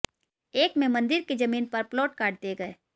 एक में मंदिर की जमीन पर प्लॉट काट दिए गए